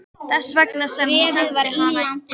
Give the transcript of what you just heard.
Þess vegna sem hún sendi hana inn.